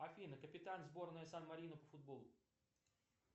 афина капитан сборной сан марино по футболу